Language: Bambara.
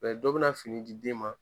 dɔ bɛ na fini di den ma